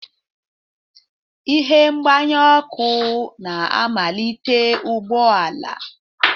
Ihe mgbanye ọkụ na-amalite ụgbọ ala.